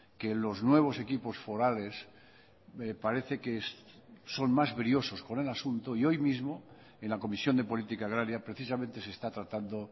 que los nuevos equipos forales me parece que son más briosos con el asunto y hoy mismo en la comisión de política agraria precisamente se está tratando